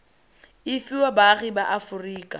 e fiwa baagi ba aforika